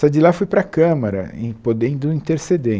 Saí de lá fui para a Câmara, e podendo interceder.